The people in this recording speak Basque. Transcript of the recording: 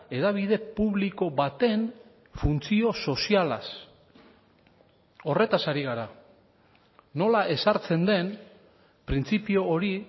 hedabide publiko baten funtzio sozialaz horretaz ari gara nola ezartzen den printzipio hori